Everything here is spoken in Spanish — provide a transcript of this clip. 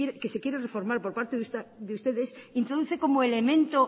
que se quiere reformar por parte de ustedes introduce como elemento